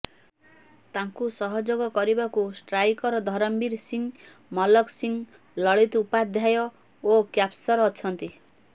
ତାଙ୍କୁ ସହଯୋଗ କରିବାକୁ ଷ୍ଟ୍ରାଇକର ଧରମବୀର ସିଂ ମଲକ ସିଂ ଲଳିତ ଉପାଧ୍ୟୟ ଓ କ୍ୟାପସର ଅଛନ୍ତି